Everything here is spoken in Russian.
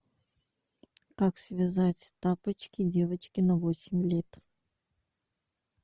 как связать тапочки девочке на восемь лет